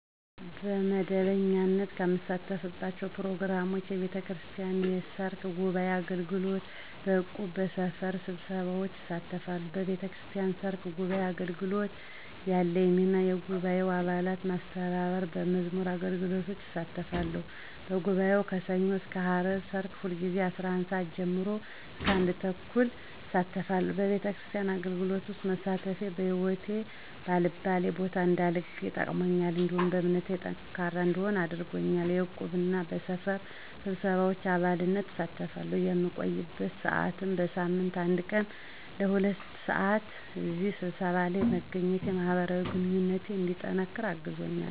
በመደበኛነት ከምሳተፍባቸው ፕሮግራሞች፣ የቤተክርስቲያን የሰርክ ጉባዔ አገልግሎት፣ በእቁብ፣ በሰፈር ስብሰባዎች እሳተፋተለሁ። በቤተክርስቲያን ሰርክ ጉባዓ አገልግሎት ያለኝ ሚና የጉባኤውን አባላት መስተባበር፣ በመዝሙር አገልግሎት እሳተፋለሁ፤ በጉባኤው ከሠኞ እስከ አርብ ሰርክ ሁልጊዜ ከ11:00 ሰዓት ጀምሮ ለ1:30 (ለአንድ ሰዓት ተኩል) አሳልፋለሁ፤ በቤተክርስቲያን አገልግሎት ውስጥ መሳተፌ በህይወቴ በአልባሌ ቦታ እንዳልገኝ ጠቅሞኛል፤ እንዲሁም በእምነቴ ጠንካራ እንድሆን አድርጎኛል። በዕቁብ እና በሰፈር ስብሰባዎች በአባልነት እሳተፋለሁ፣ የምቆይበት ሰዓትም በሳምንት አንድ ቀን ለ2:00 ሰዓት (ለሁለት ሰዓት)፣ በእነዚህ ስብሰባዎች ለይ መገኘቴ ማህበራዊ ግንኙነቴ እንዲጠነቅር አግዞኛል።